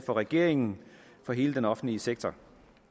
og regeringen for hele den offentlige sektor